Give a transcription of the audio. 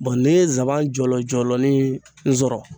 n'i ye nsaban jɔlɔjɔlɔnin sɔrɔ